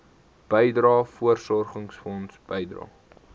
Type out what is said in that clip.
bydrae voorsorgfonds bydrae